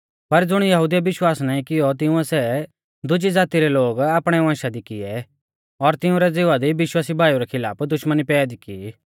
पर ज़ुणी यहुदिउऐ विश्वास नाईं कियौ तिंउऐ सै दुजी ज़ाती रै लोग आपणै वंशा दी किऐ और तिंउरै ज़िवा दी विश्वासी भाईऊ रै खिलाफ दुश्मनी पैदी की